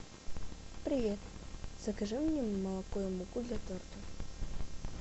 привет закажи мне молоко и муку для торта